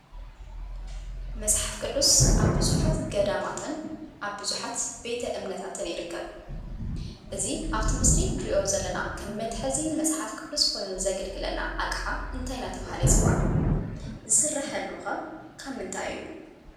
መጽሓፍ ቅዱስ ኣብ ብዙኃት ገዳማትን ኣብ ብዙሓት ቤተ እምነታትን ይርከብ፡፡ እዚ ኣብቲ ምስሊ ንርእዮ ዘለና ኸም መትሐዚ መጽሓፍ ቅዱስ ኾይኑ ዘግልግለና ኣቕሓ እንታይ እናተባህለ ይጽዋዕ? ዝስራሐሉ ኸ ካብ ምንታይ እዩ?